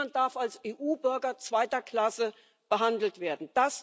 Niemand darf als EU Bürger zweiter Klasse behandelt werden.